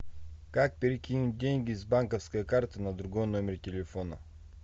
как перекинуть деньги с банковской карты на другой номер телефона